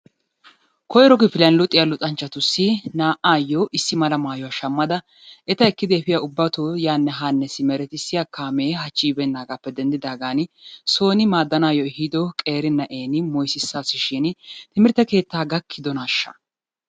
Koyiro kifiliyan luxiya luxanchchatussi naa"aayyoo issi mala mayuwa shammada eta ekkidi efiya ubbatoo yaanne haanne simeretissiya kaamee hachchi yibeennaagaappe denddidaagan sooni maaddanaayyo ehido qeeri na'eeni moyisissasishiini timirtte keettaa gakkidonaashsha?